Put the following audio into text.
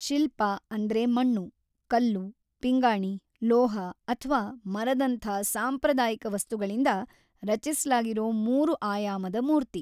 ಶಿಲ್ಪ ಅಂದ್ರೆ ಮಣ್ಣು, ಕಲ್ಲು, ಪಿಂಗಾಣಿ, ಲೋಹ ಅಥ್ವಾ ಮರದಂಥ ಸಾಂಪ್ರದಾಯಿಕ ವಸ್ತುಗಳಿಂದ ರಚಿಸ್ಲಾಗಿರೋ ಮೂರು ಆಯಾಮದ ಮೂರ್ತಿ.